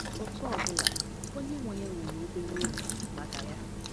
Otú ọ bụla, onye nwe ya nwere obere uru maka ya.